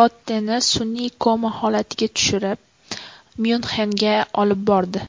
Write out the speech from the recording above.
Lotteni sun’iy koma holatiga tushirib, Myunxenga olib bordi.